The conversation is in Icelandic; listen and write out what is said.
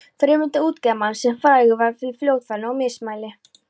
Friðmund útgerðarmann, sem frægur var fyrir fljótfærni og mismæli.